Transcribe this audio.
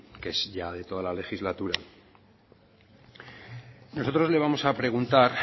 que es ya de toda la legislatura nosotros le vamos a preguntar